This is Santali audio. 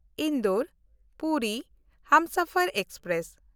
ᱤᱱᱫᱳᱨ–ᱯᱩᱨᱤ ᱦᱟᱢᱥᱟᱯᱷᱟᱨ ᱮᱠᱥᱯᱨᱮᱥ